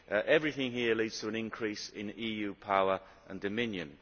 Everything here leads to an increase in EU power and dominion.